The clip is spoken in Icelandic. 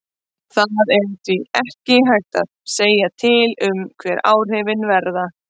Það er því ekki hægt að segja til um hver áhrifin verða.